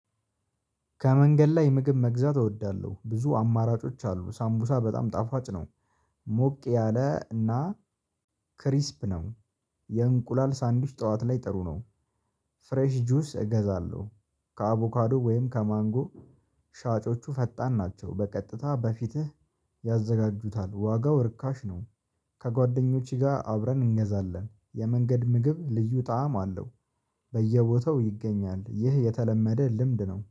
ከመንገድ ላይ ምግብ መግዛት እወዳለሁ ብዙ አማራጮች አሉ ሳምቡሳ በጣም ጣፋጭ ነው። ሞቅ ያለ እና ክሪስፕ ነው። የእንቁላል ሳንዲዊች ጠዋት ላይ ጥሩ ነው። ፍሬሽ ጁስ እገዛለሁ። ከአቮካዶ ወይም ከማንጎ። ሻጮቹ ፈጣን ናቸው በቀጥታ በፊትህ ያዘጋጁታል። ዋጋው ርካሽ ነው። ከጓደኞቼ ጋር አብረን እንገዛለን የመንገድ ምግብ ልዩ ጣዕም አለው። በየቦታው ይገኛል ይህ የተለመደ ልምድ ነው